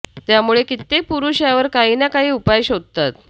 त्यामुळे कित्येक पुरुष यावर काही ना काही उपाय शोधतात